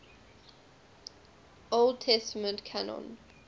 old testament canon